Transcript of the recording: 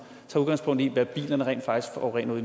tager udgangspunkt i hvad bilerne rent faktisk forurener